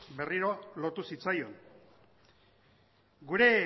berriro lotu zitzaion gure